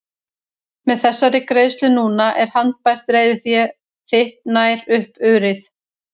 Með þessari greiðslu núna er handbært reiðufé þitt nær upp urið.